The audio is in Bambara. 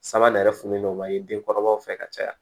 Sanga nɛrɛ fununen don ka di den kɔrɔbaw fɛ ka caya